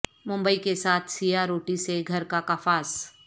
ممبئی کے ساتھ سیاہ روٹی سے گھر کا کفاس